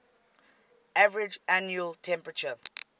average annual temperature